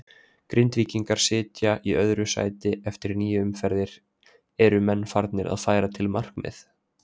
Grindvíkingar sitja í öðru sæti eftir níu umferðir, eru menn farnir að færa til markmið?